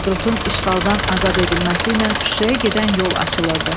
Hadrutun işğaldan azad edilməsi ilə Şuşaya gedən yol açılırdı.